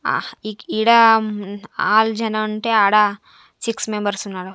ఆహ్ ఈడ మ్మ్ ఆరు జనాలు ఉంటే ఆడ సిక్స్ మెంబర్స్ ఉన్నారు.